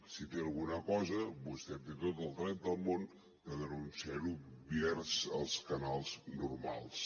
si té alguna cosa vostè té tot el dret del món de denunciarho pels canals normals